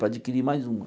Para adquirir mais uma.